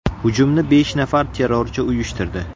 Hujumni besh nafar terrorchi uyushtirdi.